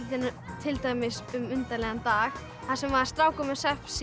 til dæmis um undarlegan dag þar sem strákur er með